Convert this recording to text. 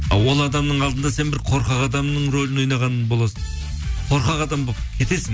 а ол адамның алдында сен бір қорқақ адамның рөлін ойнаған боласың қорқақ адам болып кетесің